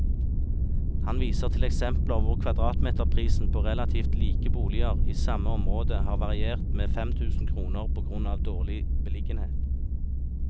Han viser til eksempler hvor kvadratmeterprisen på relativt like boliger i samme område har variert med fem tusen kroner på grunn av dårlig beliggenhet.